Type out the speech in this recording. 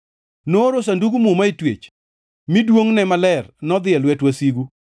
Nooro Sandug Muma e twech, mi duongʼne maler nodhi e lwet wasigu.